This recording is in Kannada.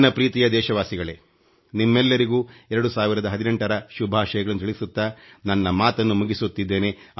ನನ್ನ ಪ್ರೀತಿಯ ದೇಶವಾಸಿಗಳೇ ನಿಮ್ಮೆಲ್ಲರಿಗೂ 2018 ರ ಶುಭಾಷಯಗಳನ್ನು ತಿಳಿಸುತ್ತಾ ನನ್ನ ಮಾತನ್ನು ಮುಗಿಸುತ್ತಿದ್ದೇನೆ